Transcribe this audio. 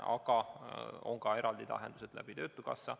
Aga on ka eraldi lahendused töötukassa kaudu.